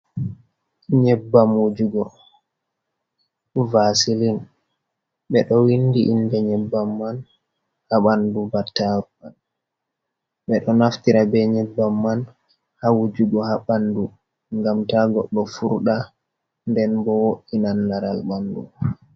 Nyebbam wujugo vasilin. be do winɗi inɗe nyebbam man ha banɗu battaru man. Be ɗo naftira be nyebbam man ha wujugo ha banɗu. Gam taggoɗo furda nden bo woinan laral banɗu.